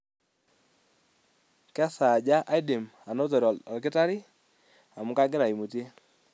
kesaaja aidim anotore olkitari amu kangira aimutie